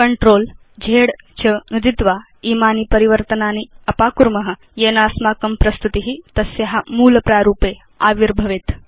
CTRL Z च नुदित्वा इमानि परिवर्तनानि अपाकुर्म येन अस्माकं प्रस्तुति तस्या मूल प्रारूपे आविर्भवति